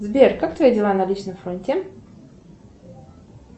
сбер как твои дела на личном фронте